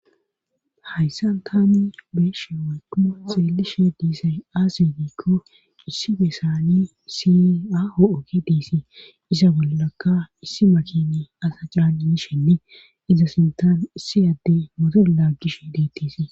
hayssan tami beeshe woyko xielishe diisay aasegikko issi besani si aho7ogi diisi isa bollaka issi makini asa jiranini shenni iza sintan issi adde mode laaggish deettisii